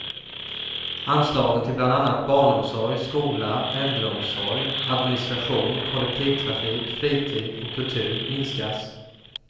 Anslagen till bland annat barnomsorg, skola, äldreomsorg, administration, kollektivtrafik, fritid och kultur minskas.